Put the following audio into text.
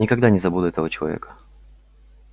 никогда не забуду этого человека